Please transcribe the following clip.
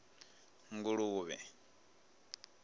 nguluvhe